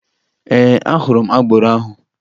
Ee, ahụrụ m agboro ahụ